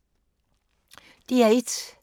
DR1